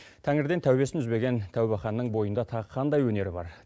тәңірден тәубесін үзбеген тәубәханның бойында тағы қандай өнері бар